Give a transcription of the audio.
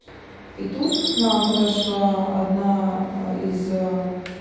и тут к нам подошла одна из